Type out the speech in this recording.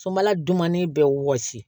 Sobala dumanni bɛ wɔsi